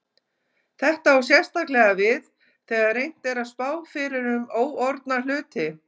Þetta á sérstaklega við þegar reynt er að spá fyrir um óorðna hluti.